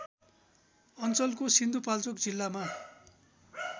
अञ्चलको सिन्धुपाल्चोक जिल्लामा